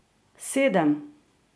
Sedem!